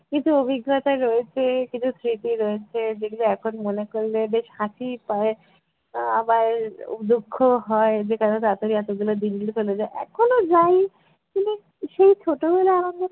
কিছু অভিজ্ঞতা রয়েছে কিছু স্মৃতি রয়েছে যেগুলো এখন মনে করলে বেশ হাসিই পায় আবার আহ দুঃখও হয় যে কেন তাড়াতাড়ি এতগুলো দিনগুলো চলে যায়, এখনো যাই কিন্তু সেই ছোটবেলার আনন্দটা